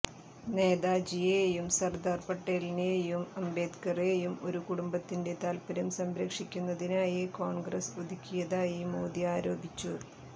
നേതാജിയേയും സര്ദാര് പട്ടേലിനേയും അംബേദ്കറെയും ഒരു കുടുംബത്തിന്റെ താല്പര്യം സംരക്ഷിക്കുന്നതിനായി കോണ്ഗ്രസ് ഒതുക്കിയതായി മോദി ആരോപിച്ചു